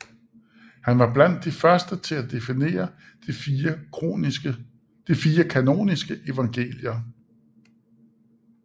Han var blandt de første til at definere de fire kanoniske evangelier